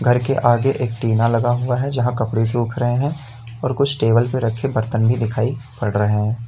घर के आगे एक टीना लगा हुआ है जहाँ कपड़े सूख रहे हैं और कुछ टेबल पे रखे बर्तन भी दिखाई पड़ रहे हैं।